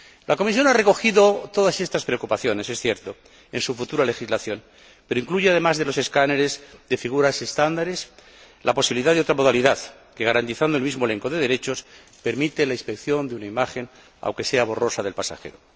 La Comisión ha recogido todas estas preocupaciones en su futura legislación, es cierto, pero incluye, además de los escáneres de figuras estándares, la posibilidad de otra modalidad que, garantizando el mismo elenco de derechos, permite la inspección de una imagen, aunque sea borrosa, del pasajero.